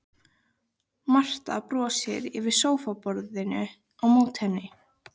Marta brosir yfir sófaborðinu á móti henni.